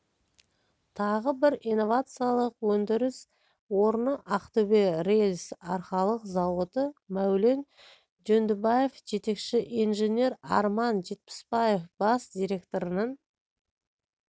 тағы бір инновациялық өндіріс орны ақтөбе рельс-арқалық зауыты мәулен жөндібаев жетекші инженер арман жетпісбаев бас директорының